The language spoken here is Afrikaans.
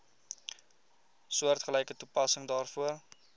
soortgelyke toepassing daarvoor